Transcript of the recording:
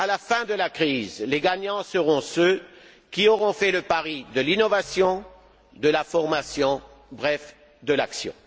À la fin de la crise, les gagnants seront ceux qui auront fait le pari de l'innovation, de la formation, bref, de l'action.